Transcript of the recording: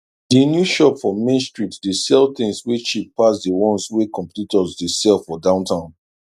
di new shop for main street dey sell things wey cheap pass di ones wey competitors dey sell for downtown